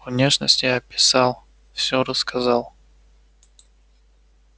внешность я описал все рассказал